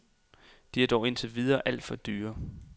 De er dog indtil videre alt for dyre.